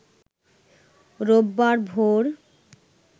রোববার ভোর